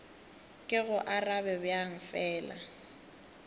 ke go arabe bjang fela